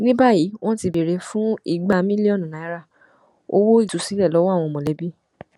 ní báyìí wọn ti ń béèrè fún igba mílíọnù náírà owó ìtúsílẹ lọwọ àwọn mọlẹbí